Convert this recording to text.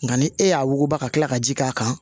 Nka ni e y'a wuguba ka tila ka ji k'a kan